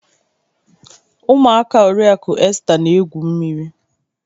Ụmụaka oriaku Esta na-egwu mmiri